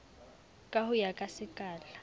ka ho ya ka sekala